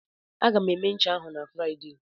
Aga m eme ncha ahụ na Fraịde.